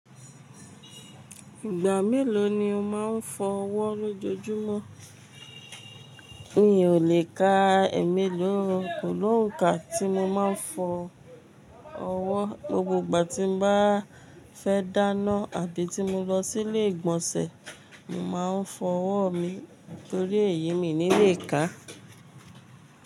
Ìgbà mélòó ni o máa ń fọ ọwọ́ lójoojúmọ́? Mi ò lè ka igba mélòó, kò lóǹkà tí mo máa ń fọ ọwọ́. Lóògbà tí n bá fẹ́ dáná àbí tí mo lọ sí ilé ìgbọ̀nsẹ̀, mo máa ń fọ ọwọ́ mi torí èyí mi ní lè ká.